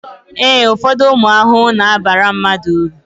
ee, ụfọdụ ụmụ ahụhụ na-abara mmadụ uru